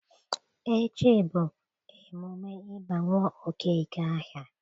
Echi bụ emume ịba nwa Okeke aha